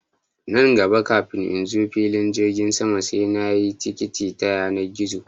Nan gaba kafin in zo filin jirgin sama sai na sayi tikiti ta yanar gizo